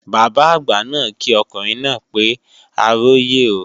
Bàbá àgbà náà kí ọkùnrin náà pé a róyè o